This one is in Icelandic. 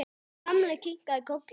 Gamli kinkaði kolli.